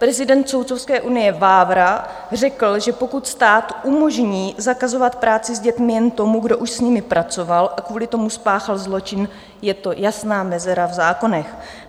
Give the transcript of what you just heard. Prezident soudcovské unie Vávra řekl, že pokud stát umožní zakazovat práci s dětmi jen tomu, kdo už s nimi pracoval a kvůli tomu spáchal zločin, je to jasná mezera v zákonech.